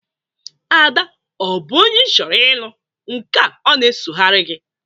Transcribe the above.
Ada ọ bụ onye ị chọrọ ịlụ nka ọ na-esogarị gị?